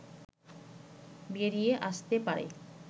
বেরিয়ে আসতে পারে